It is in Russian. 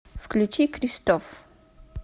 включи кристоф